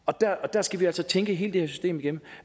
der skal vi altså tænke hele det her system igennem